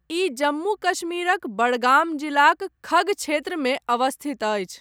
ई जम्मू कश्मीरक बडगाम जिलाक खग क्षेत्रमे अवस्थित अछि।